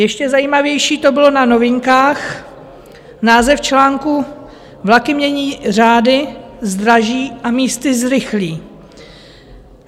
Ještě zajímavější to bylo na Novinkách: název článku Vlaky mění řády, zdraží a místy zrychlí.